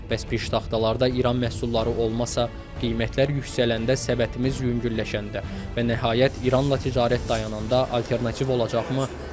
Bəs piştaxtalarda İran məhsulları olmasa, qiymətlər yüksələndə, səbətimiz yüngülləşəndə və nəhayət, İranla ticarət dayananda alternativ olacaqmı?